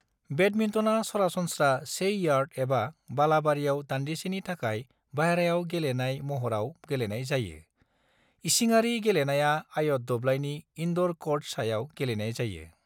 बेडमिन्टनआ सरासनस्रा से यार्ड एबा बालाबारियाव दान्दिसेनि थाखाय बायह्रायाव गेलेनाय महराव गेलेनाय जायो; इसिङारि गेलेनाया आयत दब्लाइनि इन्ड'र क'र्ट सायाव गेलेनाय जायो।